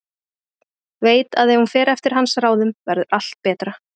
Veit að ef hún fer eftir hans ráðum verður allt betra.